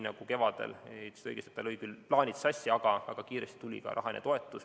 Kevad, ütlesite õigesti, lõi küll plaanid sassi, aga kiiresti tuli ka rahaline toetus.